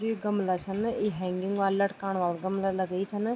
जु यूँ गमला छन ना ई हैंगिंग वाल लटकाण वाल गमला लगई छन।